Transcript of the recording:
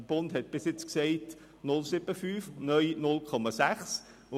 Auf Bundesstufe galt bisher 0,75 SAK und neu 0,6 SAK.